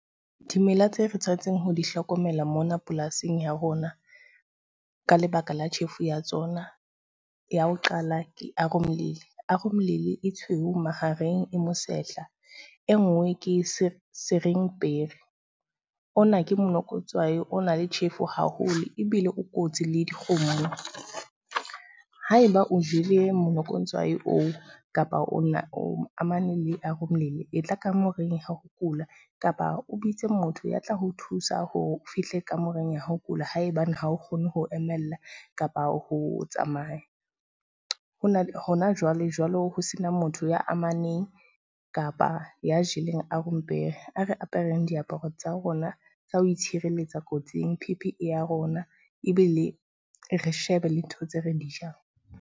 Dimela tse re tshwanetseng ho di hlokomela mona polasing ya rona, ka lebaka la tjhefu ya tsona ya ho qala, ke . e tshweu mahareng e mosehla, e nngwe ke o na ke monokotswai o na le tjhefo haholo, ebile o kotsi le dikgomo. Ha eba o jele monokotswai oo, kapa ona o amane le e tla kamoreng ya ho kula. Kapa o bitse motho ya tla ho thusa hore o fihle kamoreng ya ho kula haebane ha o kgone ho emella kapa ho tsamaya. Hona ho na jwale jwalo ho sena motho ya amaneng kapa ya jeleng a re apereng diaparo tsa rona tsa ho itshireletsa kotsing P_P_E ya rona ebile re shebe le ntho tse re di jang.